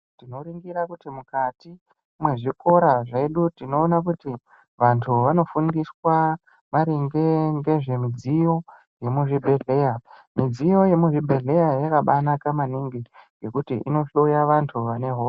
Tinoringira kuti mukati mezvikora zvedu tinoona kuti vantu vanofundiswa maringe ngezvemudziyo yemuzvibhedhlera mudziyo yemuzvibhedhleya yakabanaka maningi nekuti inohloya vantu vane hosha.